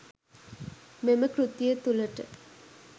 මෙම කෘතිය තුළට